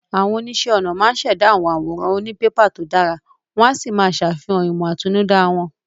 Àwọn oníṣẹ́ ọnà máa ń ṣẹ̀dá àwọn àwòrán òní pépà tó dára, Wọ́n á sì máa ṣàfihàn ìmọ̀ àtinúdá wọn